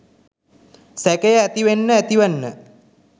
සැකය ඇතිවෙන්න ඇතිවෙන්න